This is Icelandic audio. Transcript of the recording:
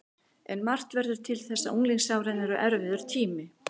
En margt verður til þess að unglingsárin eru erfiður tími.